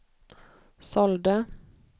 sålde